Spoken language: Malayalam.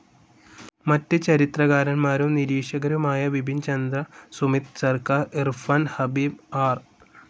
മറ്റ് ചരിത്രകാരൻമാരും നിരീക്ഷകരുമായ ബിപിൻ ചന്ദ്ര, സുമിത് സർക്കാർ, ഇർഫാൻ ഹബീബ്, ആർ.